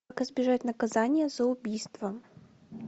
как избежать наказания за убийство